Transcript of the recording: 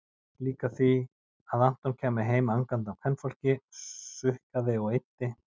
Líka því að Anton kæmi heim angandi af kvenfólki, sukkaði og eyddi-